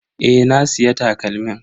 Eh, na siya takalmin.